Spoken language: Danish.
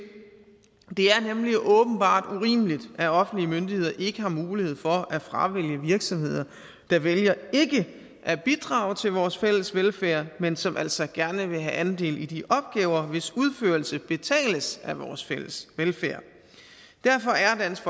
er nemlig åbenbart urimeligt at offentlige myndigheder ikke har mulighed for at fravælge virksomheder der vælger ikke at bidrage til vores fælles velfærd men som altså gerne vil have andel i de opgaver hvis udførelse betales af vores fælles velfærd derfor er dansk